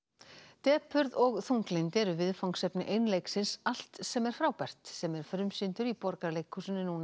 depurð og þunglyndi eru viðfangsefni allt sem er frábært sem er frumsýndur í Borgarleikhúsinu nú